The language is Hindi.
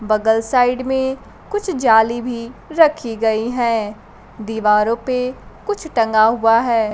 बगल साइड में कुछ जाली भी रखी गई हैं दीवारों पे कुछ टंगा हुआ है।